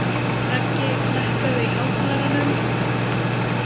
Raggi, lækkaðu í hátalaranum.